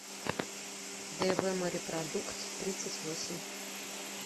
дэвэморепродукттридцатьвосемь